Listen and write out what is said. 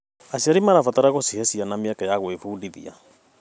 Aciari mabatiĩ gũcihe ciana mĩeke ya gwĩbundithia.